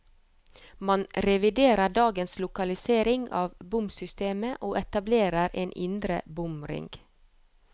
Man reviderer dagens lokalisering av bomsystemet, og etablerer en indre bomring.